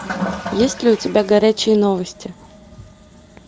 есть ли у тебя горячие новости